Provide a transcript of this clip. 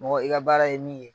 Mɔgɔ i ga baara ye min ye